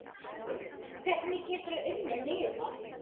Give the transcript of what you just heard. Hvernig geturðu unnið miða?